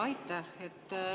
Aitäh!